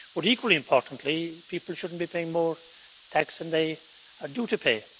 But, equally importantly, people should not be paying more tax than they are due to pay.